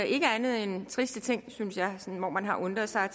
ikke andet end triste ting synes jeg hvor man har undret sig